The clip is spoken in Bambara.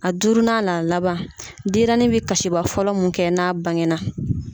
A duurunan n'a laban . Denyɛrɛnin be kasiba fɔlɔ mun kɛ n'a bangena .